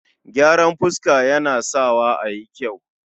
gyaran fuska Yana Sawa a yi kyau